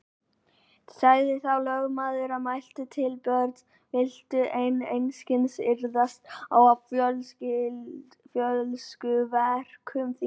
Sagði þá lögmaður og mælti til Björns: Viltu enn einskis iðrast af fólskuverkum þínum?